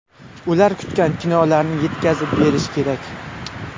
Ular kutgan kinolarni yetkazib berish kerak.